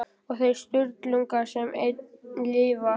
Og þeir Sturlungar sem enn lifa.